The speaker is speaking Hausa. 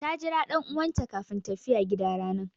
Ta Jira dan'uwan ta kafin tafiya gida ranan.